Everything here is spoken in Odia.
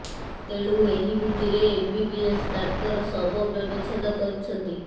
ତେଣୁ ଏହି ଭିତ୍ତିରେ ଏମ୍ବିବିଏସ୍ ଡାକ୍ତର ଶବ ବ୍ୟବଚ୍ଛେଦ କରୁଛନ୍ତି